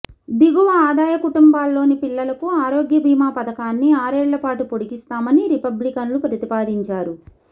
దిగువ ఆదాయ కుటుంబాల్లోని పిల్లలకు ఆరోగ్య బీమా పథకాన్ని ఆరేళ్లపాటు పొడిగిస్తామని రిపబ్లికన్లు ప్రతిపాదించారు